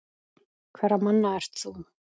Hverra manna ert þú?